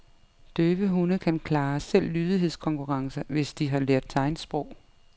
Døve hunde kan klare selv lydighedskonkurrencer, hvis de har lært tegnsprog.